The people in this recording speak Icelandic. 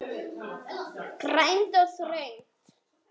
Grænt og þröngt.